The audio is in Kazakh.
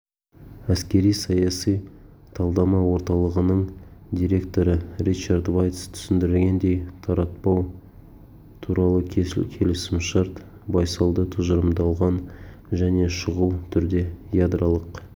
әскери-саяси талдама орталығының директоры ричард вайц түсіндіргендей таратпау туралы келісімшарт байсалды тұжырымдалған және шұғыл түрде ядролық